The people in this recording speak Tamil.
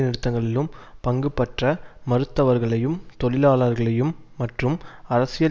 நிறுத்தங்களிலும் பங்குபற்ற மறுத்தவர்களையும் தொழிலாளர்களையும் மற்றும் அரசியல்